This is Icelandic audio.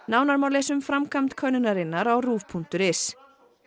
nánar má lesa um framkvæmd könnunarinnar á ruv punktur is